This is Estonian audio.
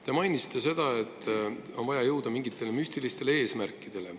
Te mainisite seda, et on vaja jõuda mingite müstiliste eesmärkideni.